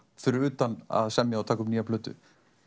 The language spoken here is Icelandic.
fyrir utan að semja og taka upp nýja plötu